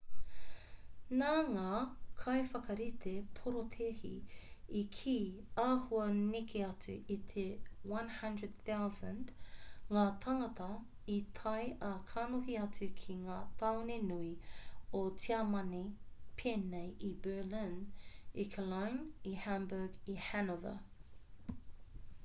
nā ngā kaiwhakarite porotēhi i kī āhua neke atu i te 100,000 ngā tāngata i tae ā kanohi atu ki ngā tāone nui o tiamani pēnei i berlin i cologne i hamburg i hanover